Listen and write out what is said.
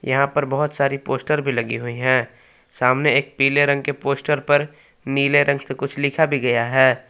यहा पर बहुत सारी पोस्टर भी लगी हुई है। सामने एक पीले रंग के पोस्टर पर नीले रंग से कुछ लिखा भी गया है।